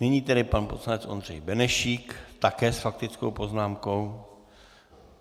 Nyní tedy pan poslanec Ondřej Benešík také s faktickou poznámkou.